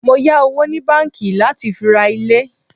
Mọ yà owó ni báńkì láti fi ra ilé.